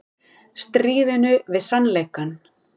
Stríðinu við sannleikann